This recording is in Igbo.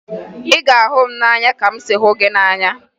Ị ga-ahụ m n'anya ka m si hụ gị n'anya!